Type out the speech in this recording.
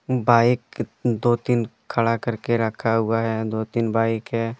Bike दो तीन खड़ा करके रखा हुआ है दो तीन बाइक है।